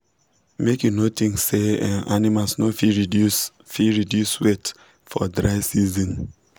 make you no think sey um animals no fit reduce fit reduce weight for dry season